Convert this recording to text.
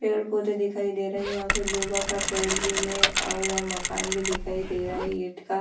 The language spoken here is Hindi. पेड़-पौधे दिखाई दे रहे हैं यहाँ पर दूबा का पेड़ भी है और यहाँ मकान भी दिखाई दे रहा है ईंट का।